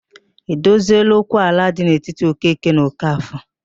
E dozieela okwu ala dị n'etiti Okeke na Okafọ?